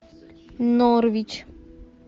норвич